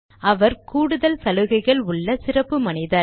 அவர் கூடுதல் சலுகைகள் உள்ள சிறப்பு மனிதர்